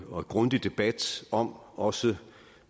og grundig debat om også